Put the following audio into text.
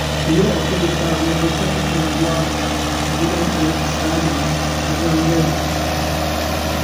Yau akwai taro na 'yan unguwa a gidan Alhaji Sale na gangare